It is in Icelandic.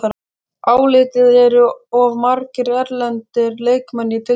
Álitið: Eru of margir erlendir leikmenn í deildinni?